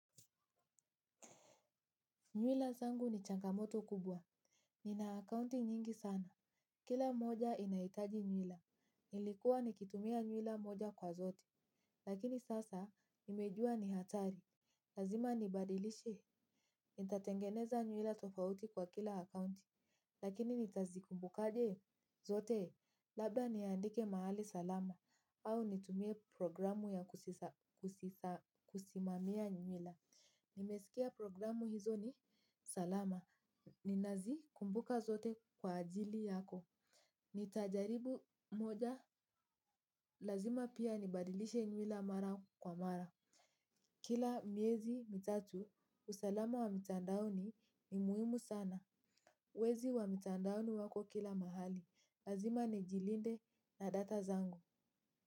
Nywila zangu ni changamoto kubwa. Nina akaunti nyingi sana. Kila moja inahitaji nywila. Nilikuwa nikitumia nywila moja kwa zote. Lakini sasa, nimejua ni hatari. Lazima nibadilishe. Nitatengeneza nywila tofauti kwa kila akaunti. Lakini nitazikumbukaje zote? Labda niandike mahali salama. Au nitumie programu ya kusimamia nywila. Nimesikia programu hizo ni salama. Ninazikumbuka zote kwa akili yako. Nitajaribu moja, lazima pia nibadilishe nywila mara kwa mara. Kila miezi mitatu, usalama wa mitandaoni ni muhimu sana. Wezi wa mitandaoni wako kila mahali. Lazima nijilinde na data zangu.